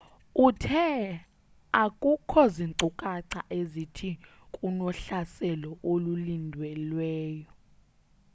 uthe akukho zinkcukatha ezithi kunohlaselo olulindelweyo